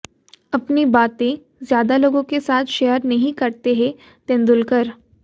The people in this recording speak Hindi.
अपनी बातें ज्यादा लोगों के साथ शेयर नहीं करते हैं तेंदुलकर